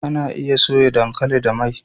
Anaa iya soya dankali da mai